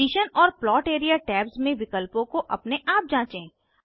position और plot area tabs में विकल्पों को अपने आप जाँचें